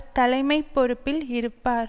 தலைமை பொறுப்பில் இருப்பார்